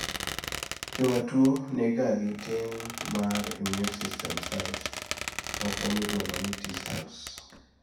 jomatuwo nigagi tin mar immune system cells moko miluongo ni T cells